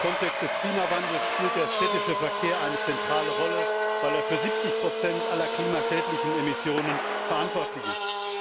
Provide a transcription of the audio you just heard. Im Kontext des Klimawandels spielt der städtische Verkehr eine zentrale Rolle, weil er für 70 aller klimaschädlichen Emissionen verantwortlich ist.